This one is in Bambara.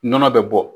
Nɔnɔ bɛ bɔ